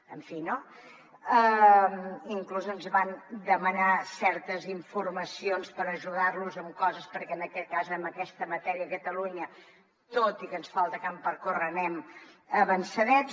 en fi no inclús ens van demanar certes informacions per ajudar los en coses perquè en aquest cas en aquesta matèria a catalunya tot i que ens falta camp per córrer anem avançadets